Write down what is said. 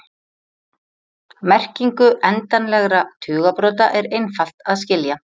Merkingu endanlegra tugabrota er einfalt að skilja.